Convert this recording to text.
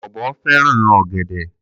Ọ̀bọ fẹ́ràn ọ̀gẹ̀dẹ̀.